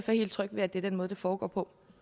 helt tryg ved at det er den måde det foregår på